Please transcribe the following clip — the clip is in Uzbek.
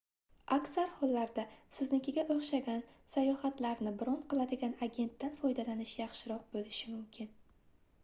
aksar hollarda siznikiga oʻxshagan sayohatlarni bron qiladigan agentdan foydalanish yaxshiroq boʻlishi mumkin